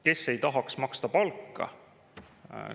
Kes ei tahaks maksta palka?